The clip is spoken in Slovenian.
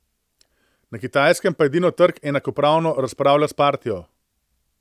Na Kitajskem pa edino trg enakopravno razpravlja s partijo.